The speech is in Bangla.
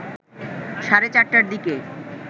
সাড়ে ৪টার দিকে